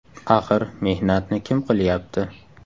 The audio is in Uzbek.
Axir mehnatni kim qilyapti.